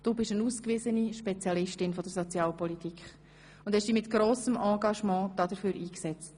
Du bist eine ausgewiesene Spezialistin der Sozialpolitik und hast dich mit grossem Engagement dafür eingesetzt.